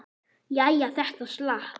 Jæja, þetta slapp.